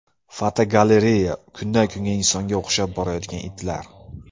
Fotogalereya: Kundan kunga insonga o‘xshab borayotgan itlar.